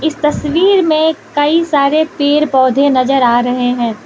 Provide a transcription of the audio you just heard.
तस्वीर में कई सारे पेड़ पौधे नजर आ रहे हैं।